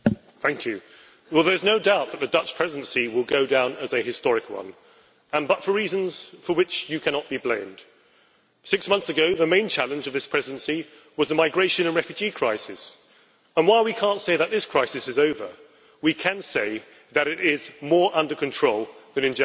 Mr President, there is no doubt that the Dutch Presidency will go down as a historic one, but for reasons for which you, Mr President in Office of the Council, cannot be blamed. Six months ago, the main challenge of this Presidency was the migration and refugee crisis and, while we cannot say that this crisis is over, we can say that it is more under control than in January,